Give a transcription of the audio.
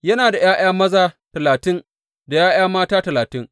Yana ’ya’ya maza talatin da ’ya’ya mata talatin.